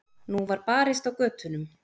Nú var barist á götunum.